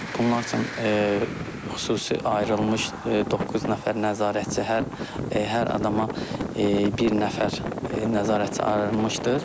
Bunlar üçün xüsusi ayrılmış doqquz nəfər nəzarətçi hər hər adama bir nəfər nəzarətçi ayrılmışdır.